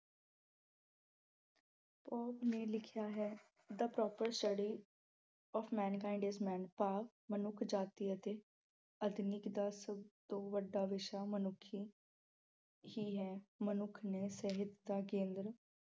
Pope ਨੇ ਲਿਖਿਆ ਹੈ the proper study of mankind is man power ਮਨੁੱਖ ਜਾਤੀ ਅਤੇ ਦਾ ਸਭ ਤੋਂ ਵੱਡਾ ਵਿਸ਼ਾ ਮਨੁੱਖ ਹੀ ਹੈ। ਮਨੁੱਖ ਨੇ ਸਿਹਤ ਦਾ ਕੇਂਦਰ